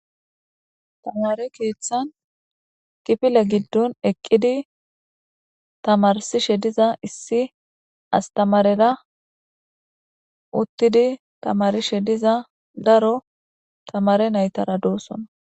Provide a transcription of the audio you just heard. Tamare keeththan kifile giddon eqqidi tamarsishe diza issi astamarera uttidi tamarishe diza daro tamare naytara doossona.